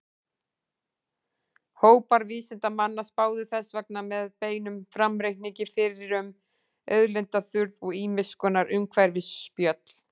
Hópar vísindamanna spáðu þess vegna með beinum framreikningi fyrir um auðlindaþurrð og ýmiss konar umhverfisspjöll.